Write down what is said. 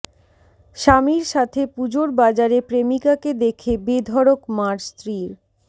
স্বামীর সাথে পুজোর বাজারে প্রেমিকাকে দেখে বেধড়ক মার স্ত্রীর